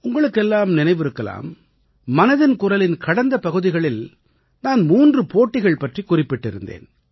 உங்களுக்கெல்லாம் நினைவிருக்கலாம் மனதின் குரலின் கடந்த பகுதிகளில் நான் மூன்று போட்டிகள் பற்றிக் குறிப்பிட்டிருந்தேன்